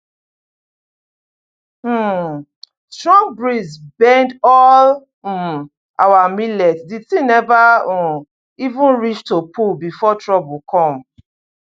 um strong breeze bend all um our millet the thing never um even reach to pull before trouble come